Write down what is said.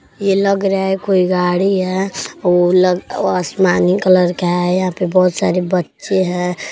ये लग रहा है कोई गाड़ी है। ओ लग वो लग आसमानी कलर का है। यहाँ पे बहोत सारे बच्चे हैं।